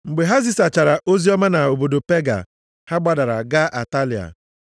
Mgbe ha zisachara oziọma nʼobodo Pega, ha gbadara gaa Atalia.